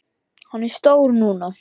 Hann er stór núna.